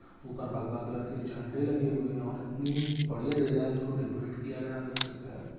ऊपर भगवा कलर के झंडे लगे हुए हैं और इतनी बढ़िया डिजाइन इसको डेकोरेट किया गया है आप देख सकते हैं।